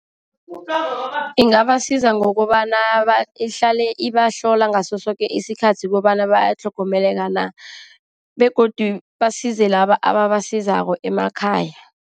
Ingabasiza ngokobana ihlale ibahlola ngaso soke isikhathi, kobana batlhogomeleka na. Begodu basize laba ababasizako emakhaya.